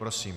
Prosím.